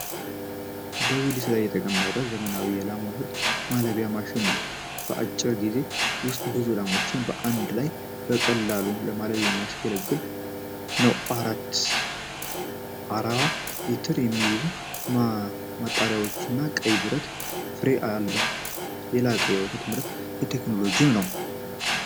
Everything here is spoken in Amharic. በዊልስ ላይ የተቀመጠ ዘመናዊ የላም ወተት ማለቢያ ማሽን ነው። በአጭር ጊዜ ውስጥ ብዙ ላሞችን በአንድ ላይ በቀላሉ ለማለብ የሚያገለግል ነው። አራት 40 ሊትር የሚይዙ ማጠራቀሚያዎችና ቀይ የብረት ፍሬም አለው። የላቀ የወተት ምርት ቴክኖሎጂም ነው።